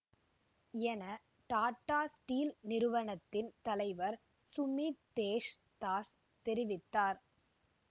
என டாட்டா ஸ்டீல் நிறுவனத்தின் தலைவர் சுமித்தேஷ் தாஸ் தெரிவித்தார்